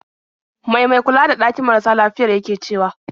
Mai mai kula da ɗakin marasa lafiyar yake cewa?